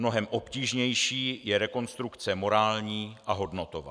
Mnohem obtížnější je rekonstrukce morální a hodnotová.